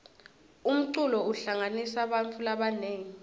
umculo uhlanganisa bantfu labanengi